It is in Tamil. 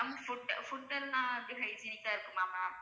ma'am food food எல்லாம் எப்படி hygienic ஆ இருக்குமா ma'am